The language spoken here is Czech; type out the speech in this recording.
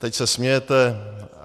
Teď se smějete.